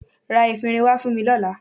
Ra efinrin wá fún mi lọ́la.